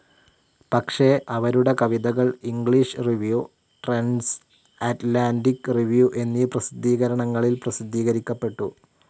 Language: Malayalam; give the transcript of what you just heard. പക്ഷെ അവരുടെ കവിതകൾ English Review, Trends Atlantic Review എന്നീ പ്രസിദ്ധീകരണങ്ങളിൽ പ്രസിദ്ധീകരിക്കപ്പെട്ടു.